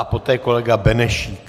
A poté kolega Benešík.